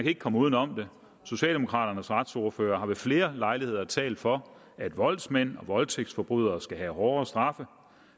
ikke komme uden om det socialdemokraternes retsordfører har ved flere lejligheder talt for at voldsmænd og voldtægtsforbrydere skal have hårdere straffe